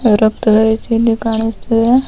ಎಂದು ಕಾಣುತ್ತಿದೆ .